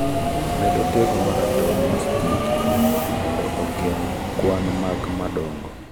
med otego maratong ma sticky mondo ogeng' kwan mag madongo